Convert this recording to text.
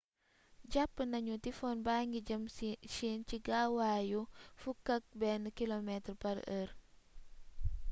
jàpp nañu ni typhon baa ngi jëm chine ci gaawaayu 11km/h